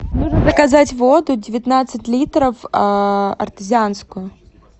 нужно заказать воду девятнадцать литров артезианскую